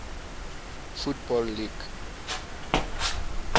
football league